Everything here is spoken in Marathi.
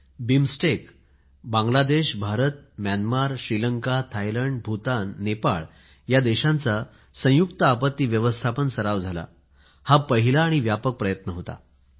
बीमस्टेक बांगलादेश भारत म्यानमार श्रीलंका भूतान नेपाळ या देशांचा संयुक्त आपत्ती व्यवस्थापन सरावही झाला हा पहिला आणि व्यापक प्रयत्न होता